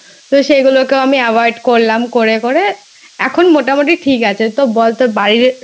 তো সেগুলোকেও আমি Avoid করলাম করে করে এখন মোটামুটি সব ঠিক আছে ।তো বলতো